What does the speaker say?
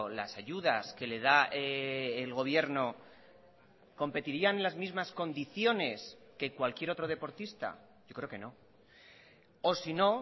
las ayudas que le da el gobierno competirían en las mismas condiciones que cualquier otro deportista yo creo que no o sino